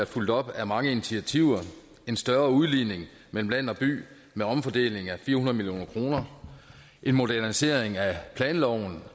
fulgt op af mange initiativer en større udligning mellem land og by med omfordeling af fire hundrede million kr en modernisering af planloven